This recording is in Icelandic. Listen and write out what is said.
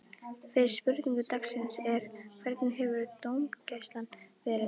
Fyrri spurning dagsins er: Hvernig hefur dómgæslan verið?